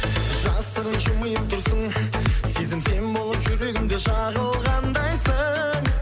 жасырын жымиып тұрсың сезім сен болып жүрегімде жағылғандайсың